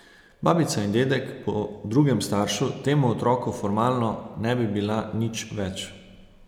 Babica in dedek po drugem staršu temu otroku formalno ne bi bila nič več.